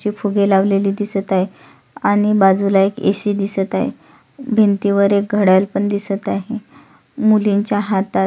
फुगे लावलेले दिसत आहे आणि बाजूला एक एसी दिसत आहे भिंतीवर एक घडयाळ पण दिसत आहे मुलींच्या हातात --